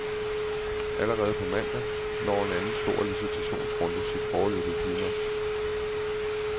Allerede på mandag når en anden stor licitationsrunde sit foreløbige klimaks.